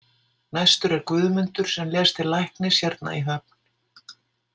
Næstur er Guðmundur sem les til læknis hérna í Höfn.